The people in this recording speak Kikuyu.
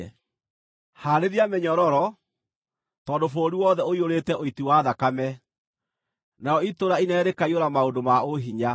“ ‘Haarĩria mĩnyororo, tondũ bũrũri wothe ũiyũrĩte ũiti wa thakame, narĩo itũũra inene rĩkaiyũra maũndũ ma ũhinya.